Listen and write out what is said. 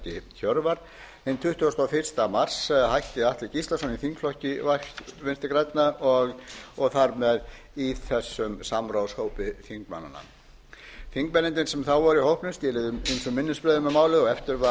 helgi hjörvar en tuttugasta og fyrsta mars hætti alfreð gíslason í þingflokki vinstri grænna og þar með í þessum samráðshópi þingmannanna þingmennirnir sem þá voru í hópnum skiluðu ýmsum minnisblöðum um málið